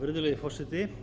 virðulegi forseti